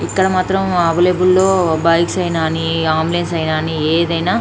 ఇక్కడ మాత్రం అవైలబుల్ లో బైక్స్ అయినా అని అంబులెన్స్ అయినా అని ఏదైనా--